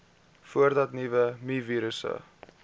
voordat nuwe mivirusse